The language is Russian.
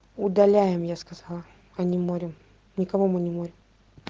удаляем я сказала а не морим никого мы не морим